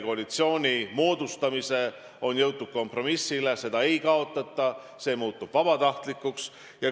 Koalitsiooni moodustamise tulemusel on jõutud kompromissile, seda ei kaotata, see muutub vabatahtlikuks.